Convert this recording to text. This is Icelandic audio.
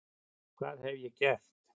hvað hef ég gert?